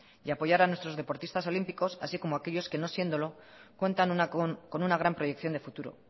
y apoyar a nuestros deportistas olímpicos así como a aquellos que no siéndolo cuentan con una gran proyección de futuro